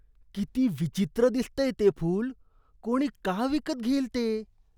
किती विचित्र दिसतंय ते फूल. कोणी का विकत घेईल ते?